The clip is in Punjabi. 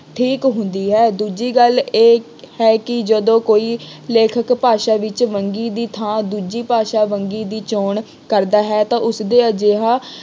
ਠੀਕ ਹੁੰਦੀ ਹੈ। ਦੂਜੀ ਗੱਲ ਇਹ ਹੈ ਕਿ ਜਦੋਂ ਕੋਈ ਲੇਖਕ ਭਾਸ਼ਾ ਵਿੱਚ ਵੰਨਗੀ ਦੀ ਥਾਂ ਦੂਜੀ ਭਾਸ਼ਾ ਵੰਨਗੀ ਦੀ ਚੌਣ ਕਰਦਾ ਹੈ ਤਾਂ ਉਸਦੇ ਅਜਿਹਾ